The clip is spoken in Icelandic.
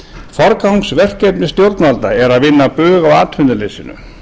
forgangsverkefni stjórnvalda er að vinna bug á atvinnuleysinu